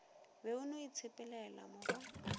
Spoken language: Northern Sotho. be o no itshepelela morwa